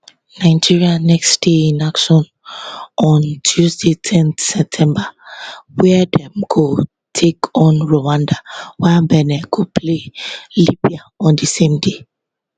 nigeria next dey in action on tuesday ten september wia dem go take on rwanda while benin go play libya on di same day